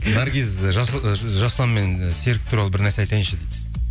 наргиз ы жасұлан мен і серік туралы бірнәрсе айтайыншы